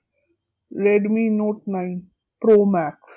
Redmi Note nine Pro max